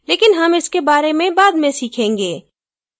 लेकिन हम इसके बारे में बाद में सीखेंगे